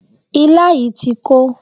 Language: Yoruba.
Ilá yìí ti kó.